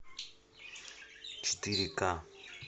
четыре ка